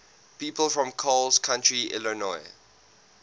people from coles county illinois